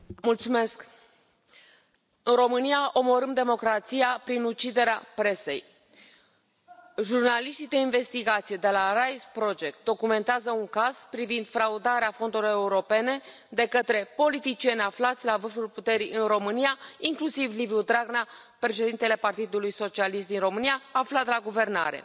Domnule președinte, în România omorâm democrația prin uciderea presei. Jurnaliștii de investigație de la RISE Project documentează un caz privind fraudarea fondurilor europene de către politicieni aflați la vârful puterii în România, inclusiv Liviu Dragnea, președintele Partidului Socialist din România aflat la guvernare.